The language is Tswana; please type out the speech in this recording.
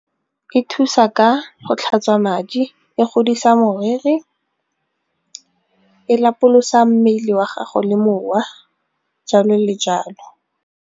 E thusa ka go tlhatswa madi, e godisa moriri, e lapolosa mmele wa gago le mowa jalo le jalo.